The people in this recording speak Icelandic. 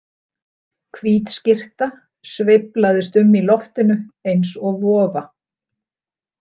Hvít skyrta sveiflaðist um í loftinu eins og vofa.